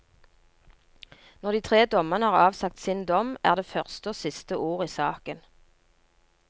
Når de tre dommerne har avsagt sin dom er det første og siste ord i saken.